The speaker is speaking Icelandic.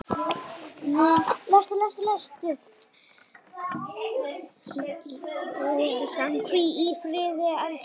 Hvíl í friði, elskan!